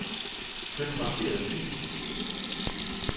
Flyt markerede fil.